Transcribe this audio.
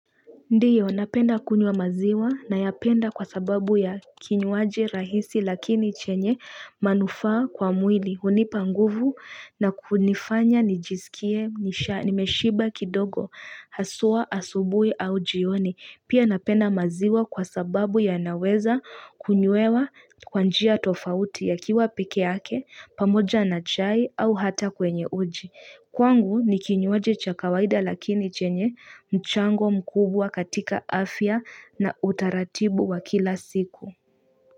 Ndio, napenda kunywa maziwa nayapenda kwa sababu ya kinywaji rahisi lakini chenye manufaa kwa mwili. Hunipa nguvu na kunifanya nijisikie, nimeshiba kidogo, haswa, asubuhi au jioni. Pia napenda maziwa kwa sababu yanaweza kunywewa kwanjia tofauti ya kiwa pikee yake, pamoja na chai au hata kwenye uji. Kwangu ni kinywaji cha kawaida lakini chenye mchango mkubwa katika afya na utaratibu wa kila siku.